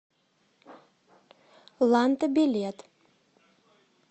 ланта билет